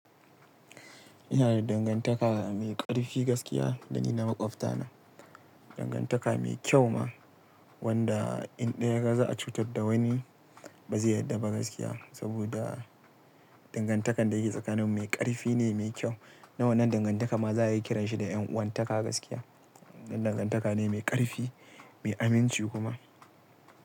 Ina da dangantaka mai ƙarfi gaskiya dan da maƙwafta na, dangantaka mai kyau ma wanda in ɗaya ya ga za'a cutar da wani ba zai yarda ba gaskiya. Saboda dangantakar da yake tsakanin mu mai ƙarfi ne, mai kyau. Dan wannan dangantaka ma za'a iya kiranshi da 'yan uwantaka gaskiya. Dan dangantaka ne mai ƙarfi, mai aminci kuma.